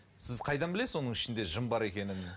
сіз қайдан білесіз оның ішінде жын бар екенін